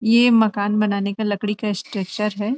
ये मकान बनाने का लकड़ी का स्ट्रक्चर है ।